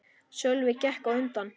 Sölvi gekk á undan.